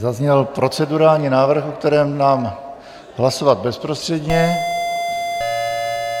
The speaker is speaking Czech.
Zazněl procedurální návrh, o kterém dám hlasovat bezprostředně.